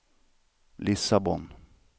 Lissabon